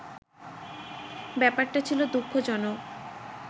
ব্যাপারটা ছিল দু:খজনক